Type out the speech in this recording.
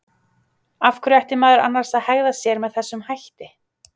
Af hverju ætti maður annars að hegða sér með þessum hætti?